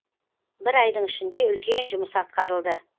бір айдың ішінде үлкен жұмыс атқарылды